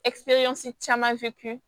caman